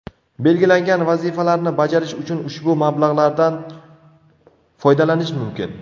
Belgilangan vazifalarni bajarish uchun ushbu mablag‘lardan foydalanish mumkin.